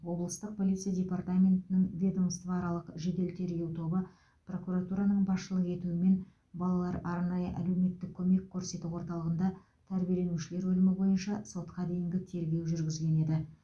облыстық полиция департаментінің ведомствоаралық жедел тергеу тобы прокуратураның басшылық етуімен балалар арнайы әлеуметтік көмек көрсету орталығында тәрбиеленушілер өлімі бойынша сотқа дейінгі тергеу жүргізген еді